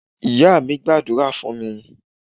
Ìyá mí gbàdúrà fún mi